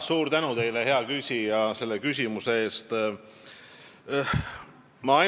Suur tänu teile, hea küsija, selle küsimuse eest!